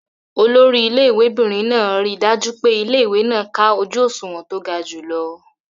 Olori ilé ìwé'bìnrin máa ríi dájú pé ilé-ìwé náà ká ojú òṣùwọ̀n tó ga jùlọ.